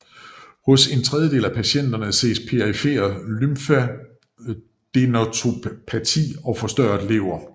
Hos en tredjedel af patienter ses perifer lymfadenopati og forstørret lever